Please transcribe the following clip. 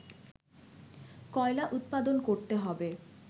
কয়লা উৎপাদন করতে হবে